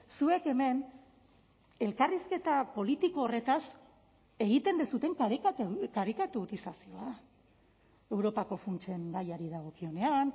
zuek hemen elkarrizketa politiko horretaz egiten duzuen karikaturizazioa europako funtsen gaiari dagokionean